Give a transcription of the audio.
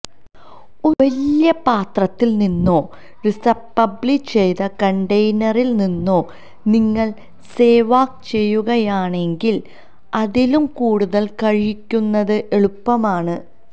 ഒരു വലിയ പാത്രത്തിൽ നിന്നോ റിസപ്ളബി ചെയ്ത കണ്ടെയ്നറിൽ നിന്നോ നിങ്ങൾ സേവാഗ് ചെയ്യുകയാണെങ്കിൽ അതിലും കൂടുതൽ കഴിക്കുന്നത് എളുപ്പമാണ്